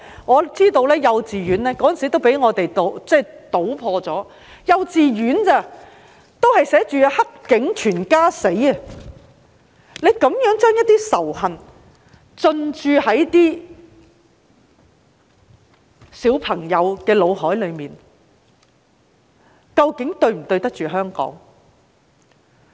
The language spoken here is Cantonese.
我知道有幼稚園當時也曾被我們搗破，就是幼稚園也有"黑警全家死"的言論，將這種仇恨灌輸到小朋友的腦海，是否對得起香港？